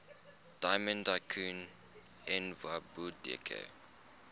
diamond tycoon nwabudike